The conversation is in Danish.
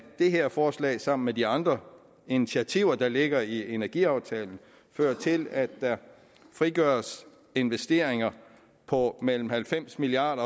det her forslag sammen med de andre initiativer der ligger i energiaftalen fører til at der frigøres investeringer på mellem halvfems milliard